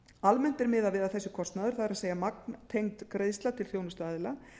almennt er miðað við að þessi kostnaður það magntengd greiðsla til þjónustuaðila